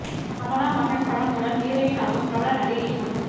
அமலா மகன் படம் மூலம் ஹீரோயின் ஆகும் பிரபல நடிகையின் மகள்